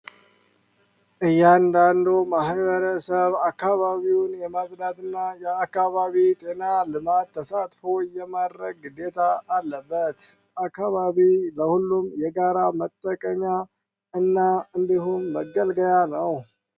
እያንዳንዱ ማህበረሰብ የአካባቢ ጤና ልማት ተሳትፎ የማረግ ጌታ አለበት አካባቢ ለሁሉም የጋራ መጠቀሚያ እና እንዲሁም ያለው